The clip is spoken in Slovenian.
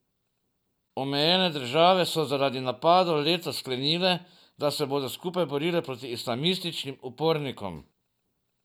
Omenjene države so zaradi napadov letos sklenile, da se bodo skupaj borile proti islamističnim upornikom.